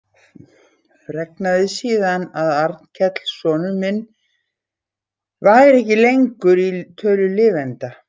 Fregnaði síðan að Arnkell sonur minn væri ekki lengur í tölu lifenda.